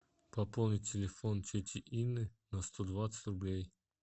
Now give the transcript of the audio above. пополнить телефон тети инны на сто двадцать рублей